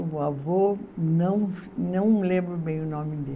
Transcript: O meu avô não, não lembro bem o nome dele.